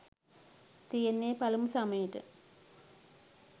තියෙන්නෙ පලමු සමයට